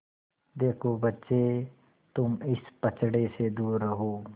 देखो बच्चे तुम इस पचड़े से दूर रहो